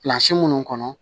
minnu kɔnɔ